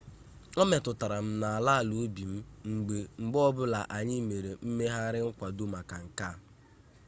ọ metụtara m n'ala ala obi m mgbe ọbụla anyị mere mmegharị nkwado maka nke a